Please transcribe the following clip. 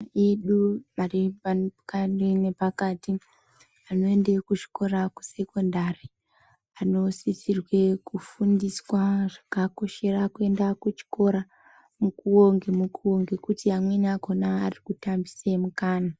Edu ari pani kani nepakati anoende kuzvikora kusekondari anosisirwa ke undiswa zvakakoshera kuenda kuchikora mukuwo ngemukuwo ngekuti amwrni akhona ari kutambise mukana.